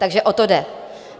Takže o to jde.